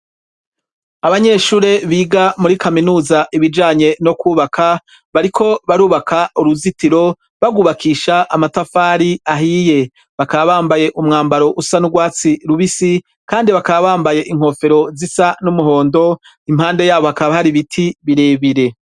Abanyeshure biga muri kaminuza ibijanye no kwubaka bariko barubaka uruzitiro barwubakisha amatafari ahiye. Bakaba bambaye umwambaro usa n'urwatsi rubisi, kandi bakaba bambaye inkofero zisa n'umuhondo. Impande yabo hakaba hari ibiti birebire.